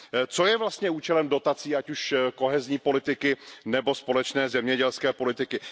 Co je vlastně účelem dotací, ať už kohezní politiky nebo společné zemědělské politiky?